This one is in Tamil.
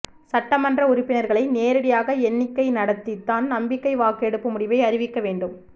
சட்டமன்ற உறுப்பினர்களை நேரடியாக எண்ணிக்கை நடத்தித்தான் நம்பிக்கை வாக்கெடுப்பு முடிவை அறிவிக்க வேண்டும்